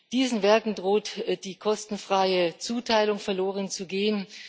Diesen Werken droht die kostenfreie Zuteilung verlorenzugehen.